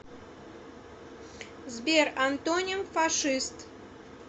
сбер антоним фашист